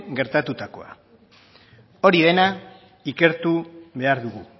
gertatutakoa hori dena ikertu behar dugu